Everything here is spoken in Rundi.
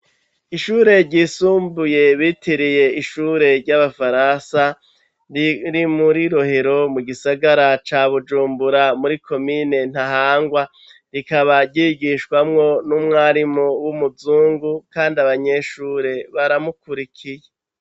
Ishure ryisumbuye bitiriye ishure ry'Abafaransa riri muri rohero mu gisagara ca Bujumbura muri komine Ntahangwa. Rikaba ryigishwamwo n'umwarimu w'umuzungu kandi abanyeshure baramukurikiye.